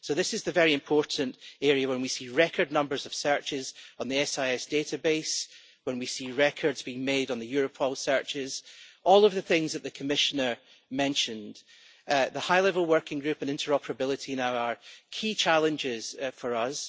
This is the really important area when we see record numbers of searches on the SIS database, when we see records being made on the Europol searches, all of the things that the Commissioner mentioned. The High Level Working Group on Interoperability is now one of the key challenges for us.